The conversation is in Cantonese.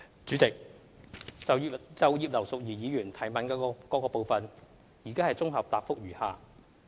主席，就葉劉淑儀議員質詢的各部分，現綜合答覆如下。